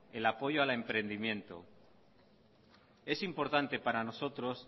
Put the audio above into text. el apoyo al emprendimiento es importante para nosotros